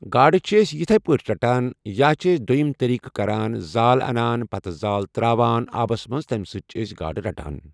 گاڑ چھِ أسۍ یِتھےٕ پٲٹھی رَٹان یا چھِ أسۍ دویِم طٔریٖق کَران زال اَنان پَتہ زال ترٛاوان آبَس منٛز تَمہِ سۭتۍ چھِ أسۍ گاڑٕ رَٹان۔